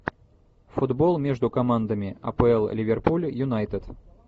футбол между командами апл ливерпуль юнайтед